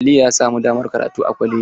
Aliyu ya samu damar karatu a kwalaji.